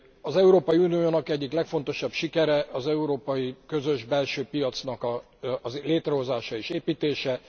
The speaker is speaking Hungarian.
Az Európai Uniónak egyik legfontosabb sikere az európai közös belső piacnak a létrehozása és építése.